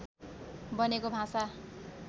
बनेको भाषा